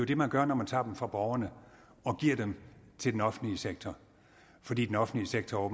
det man gør når man tager dem fra borgerne og giver dem til den offentlige sektor fordi den offentlige sektor